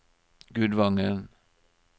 Gudvangen